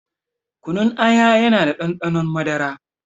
Kunun aya yana da ɗanɗanon madara